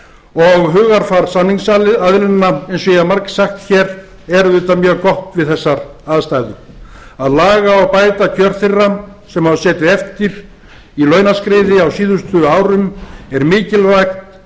og hugarfar samningsaðilanna eins og ég hef margsagt hér er auðvitað mjög gott við þessar aðstæður að laga og bæta kjör þeirra sem hafa setið eftir í launaskriði á síðustu árum eru mikilvæg